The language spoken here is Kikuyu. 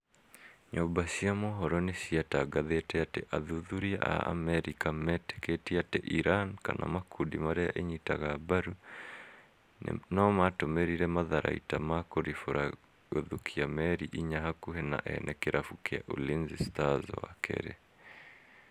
Nyuma cia mohoro nĩcitangathĩte atĩ athuthuria a Amerika mĩtĩkĩtie ati iran kana makundi marĩa ĩnyitaga mbarũ nũmatũmĩrire matharaita ma kũrifũra gũthũkia meri inya hakuhĩ na ene kirabu kia Ulinzi stars wakerĩ